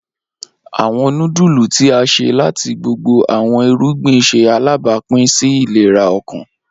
Awọn nudulu ti a ṣe lati gbogbo awọn irugbin ṣe alabapin si ilera ọkan.